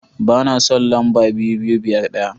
Ba na son lamba 2251.